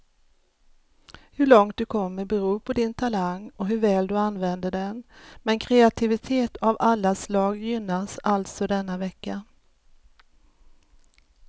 Hur långt du kommer beror på din talang och hur väl du använder den, men kreativitet av alla slag gynnas alltså denna vecka.